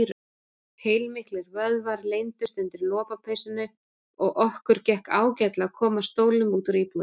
Heilmiklir vöðvar leyndust undir lopapeysunni og okkur gekk ágætlega að koma stólnum út úr íbúðinni.